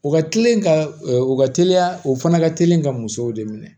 O ka teli ka o ka teliya o fana ka teli ka musow de minɛ